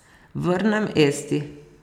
Vrnem Esti.